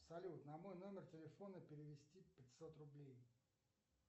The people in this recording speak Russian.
салют на мой номер телефона перевести пятьсот рублей